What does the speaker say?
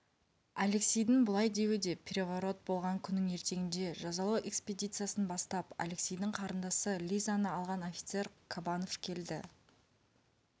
алексейдің бұлай деуі да переворот болған күннің ертеңінде жазалау экспедициясын бастап алексейдің қарындасы лизаны алған офицер кабанов келді